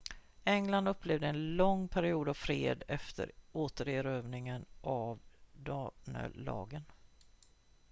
england upplevde en lång period av fred efter återerövringen av danelagen